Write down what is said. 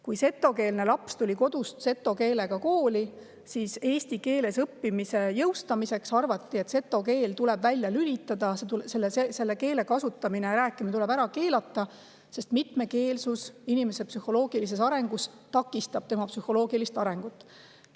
Kui setokeelne laps tuli kodust seto keelega kooli, siis arvati, et eesti keeles õppimise jõustamiseks tuleb seto keel välja lülitada, selle keele kasutamine, selles keeles rääkimine tuleb ära keelata, sest mitmekeelsus takistab inimese psühholoogilist arengut.